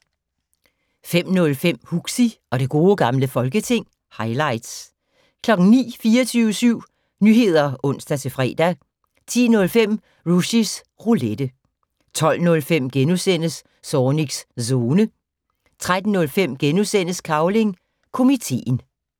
05:05: Huxi og det gode gamle folketing - highlights 09:00: 24syv Nyheder (ons-fre) 10:05: Rushys Roulette 12:05: Zornigs Zone * 13:05: Cavling Komiteen *